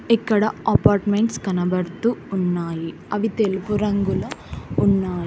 ఇక్కడ అపార్ట్మెంట్స్ కనబడుతూ ఉన్నాయి అవి తెలుపు రంగులో ఉన్నాయి.